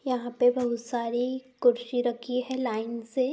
यहाँ पे बहुत सारी कुर्सी रखी हैं लाइन से --